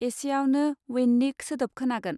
एसेआवनो वैन नि सोदोब खोनागोन